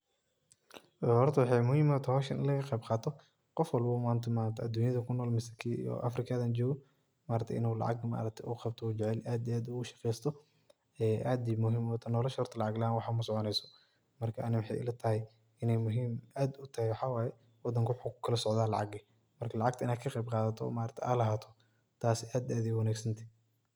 Hoorta waxay muhim utahaya hooshan, ini laga qeebqatoh Qoof walbo oo manta aduunyada kunool keenya oo afrikaga jokoh, maaragtay inu lacag qaabtoh oo jaceelyhay aad ugu shaqeeystoh ee caadi muhim u tahay nolosha lacag laan waxbo masoconeysoh marka Ani waxay ilatahay inay muhim aad u tahay waxawaye wadanga waxu kukalasocdah lacag marka lacag ini ka qeebqathatoh maarka AA lagatoh aad iyo aad u wanagsantahay.